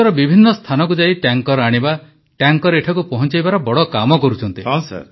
ବିଶ୍ୱର ବିଭିନ୍ନ ସ୍ଥାନକୁ ଯାଇ ଟ୍ୟାଙ୍କର ଆଣିବା ଟ୍ୟାଙ୍କର ଏଠାକୁ ପହଞ୍ଚାଇବାର ବଡ଼ କାମ କରୁଛନ୍ତି